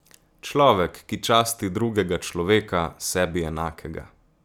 Človek, ki časti drugega človeka, sebi enakega.